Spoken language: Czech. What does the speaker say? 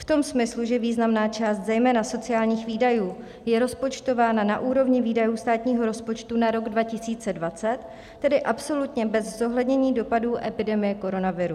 V tom smyslu, že významná část zejména sociálních výdajů je rozpočtována na úrovni výdajů státního rozpočtu na rok 2020, tedy absolutně bez zohlednění dopadů epidemie koronaviru.